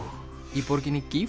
í borginni